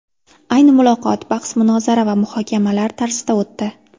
Ayni muloqot bahs-munozara va muhokamalar tarzida o‘tdi.